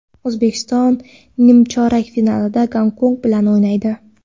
O‘zbekiston nimchorak finalda Gonkong bilan o‘ynaydi.